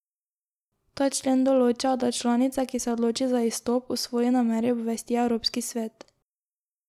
Ta člen določa, da članica, ki se odloči za izstop, o svoji nameri obvesti Evropski svet.